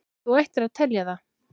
Þú ættir að telja það.